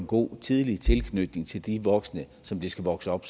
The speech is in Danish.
god og tidlig tilknytning til de voksne som det skal vokse op